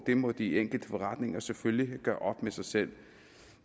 det må de enkelte forretninger selvfølgelig gøre op med sig selv